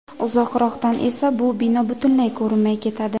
Uzoqroqdan esa bu bino butunlay ko‘rinmay ketadi.